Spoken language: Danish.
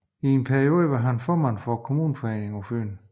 I en periode var han formand for Kommuneforeningen på Fyn